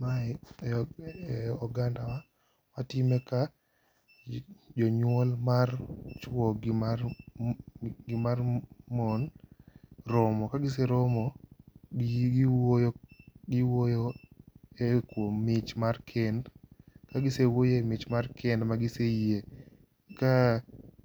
Mae e ogandawa watime ka jonywol mar chwo gi mar mon romo. Kagiseromo, giwuoyo e kuom mich mar kend. Ka gisewuoyo e mich kar kend ma giseyie, ka